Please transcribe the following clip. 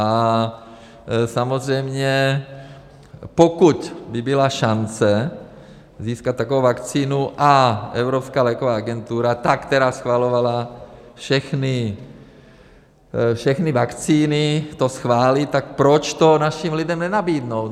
A samozřejmě pokud by byla šance získat takovou vakcínu a Evropská léková agentura, ta, která schvalovala všechny vakcíny, to schválí, tak proč to našim lidem nenabídnout.